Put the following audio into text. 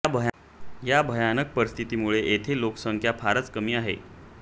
या भयानक परिस्थितीमुळे येथे लोकसंख्या फारच कमी आहे